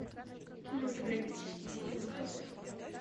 кинематографический фильм каспер